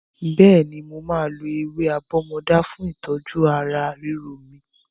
Bẹ́ẹ̀ni, mo máa lo ewé àbọ́mọdá fún ìtọ́jú ara ríro mi.